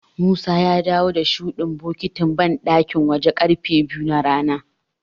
Musa ya dawo da shuɗin bokitin banɗakin wajen ƙarfe biyu na rana.